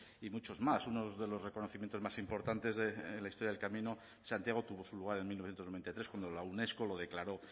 y muchos más uno de los reconocimientos más importantes de la historia del camino de santiago tuvo su lugar en mil novecientos noventa y tres cuando la unesco lo declaró